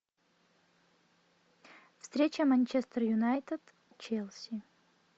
встреча манчестер юнайтед челси